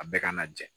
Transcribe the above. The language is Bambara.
A bɛɛ ka na jɛ